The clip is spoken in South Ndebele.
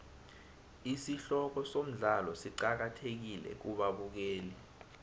isihloko somdlalo siqakathekile kubabukeli